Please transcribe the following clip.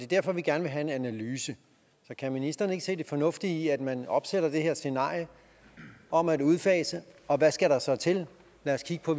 derfor vi gerne vil have en analyse så kan ministeren ikke se det fornuftige i at man opsætter det her scenarie om at udfase og hvad skal der så til lad os kigge på